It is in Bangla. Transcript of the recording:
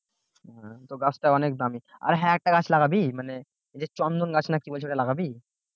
তো গাছটা অনেক দামি আর হ্যাঁ আরেকটা গাছ লাগাবি? মানে এই যে চন্দন গাছ নাকি বলছে ওটা লাগাবি